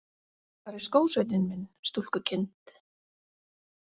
Hvar er skósveinninn minn, stúlkukind?